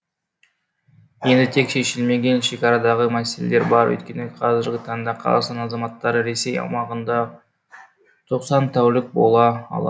енді тек шешілмеген шекарадағы мәселелер бар өйткені қазіргі таңда қазақстан азаматтары ресей аумағында тоқсан тәулік бола ала